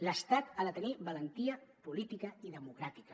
l’estat ha de tenir valentia política i democràtica